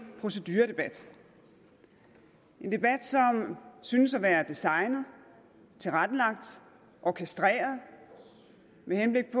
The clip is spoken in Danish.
proceduredebat en debat som synes at være designet tilrettelagt orkestreret med henblik